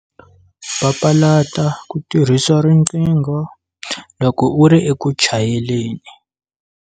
Papalata ku tirhisa riqingho loko u ri eku chayeleni.